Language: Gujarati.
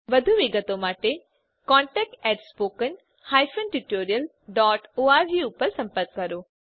વધુ વિગત માટે કૃપા કરી contactspoken tutorialorg પર સંપર્ક કરો